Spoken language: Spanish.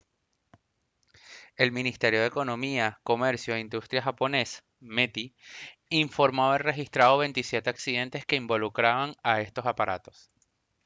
el ministerio de economía comercio e industria japonés meti informó haber registrado 27 accidentes que involucraban a estos aparatos